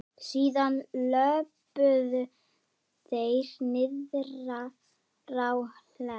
Síðan löbbuðu þeir niðrá Hlemm.